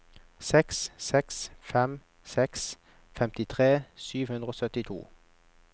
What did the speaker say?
seks seks fem seks femtitre sju hundre og syttito